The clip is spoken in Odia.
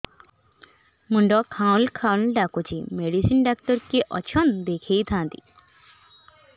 ମୁଣ୍ଡ ଖାଉଲ୍ ଖାଉଲ୍ ଡାକୁଚି ମେଡିସିନ ଡାକ୍ତର କିଏ ଅଛନ୍ ଦେଖେଇ ଥାନ୍ତି